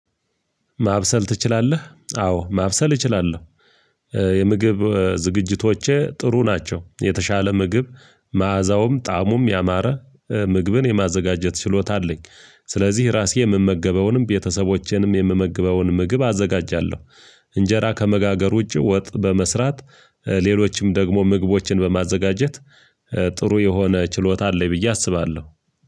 ማብሰል ትችላለህ አዎ ማብሰል እችላለሁ የምግብ ዝግጅቶቼ ጥሩ ናቸው የተሻለ ምግብ መዓዛውም ጣእሙም ያማረ ምግብን የማዘጋጀት ችሎታ አለኝ። ስለዚህ ራሴ የምመገበውንም ቤተሰቦቼንም የምመግበውን ምግብ አዘጋጃለሁ። እንጀራ ከመጋገሩ ዉጭ ወጥ በመስራት ሌሎችም ደግሞ ምግቦችን በማዘጋጀት ጥሩ የሆነ ችሎታ አለኝ ብዬ አስባለሁ።